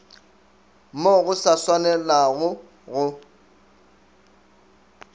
mo go sa swanelago go